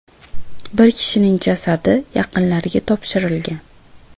Bir kishining jasadi yaqinlariga topshirilgan.